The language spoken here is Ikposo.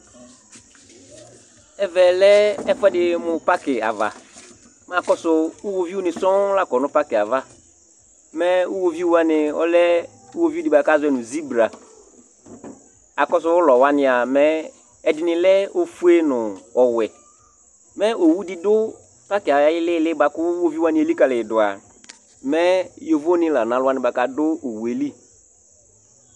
Ɛvɛ lɛ ɛfʋɛdɩ mʋ pakɩ ava, mɛ akɔsʋ iɣoviunɩ sɔŋ la kɔ nʋ pakɩ yɛ ava, mɛ iɣoviu wanɩ ɔlɛ iɣoviu dɩ kʋ azɔ nʋ zibra Akɔsʋ ʋlɔ wanɩ a, mɛ ɛdɩnɩ lɛ ofue nʋ ɔwɛ Mɛ owu dɩ dʋ pakɩ yɛ ayʋ ɩɩlɩ ɩɩlɩ bʋa kʋ iɣoviu wanɩ ekalɩ yɛ dʋ a, mɛ yovonɩ la nʋ alʋ wanɩ bʋa kʋ adʋ owu yɛ li